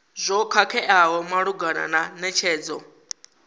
zwo khakheaho malugana na netshedzo